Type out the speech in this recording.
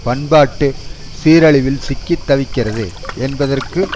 பண்பாட்டு சீரழிவில் சிக்கி தவிக்கிறது என்பதற்கு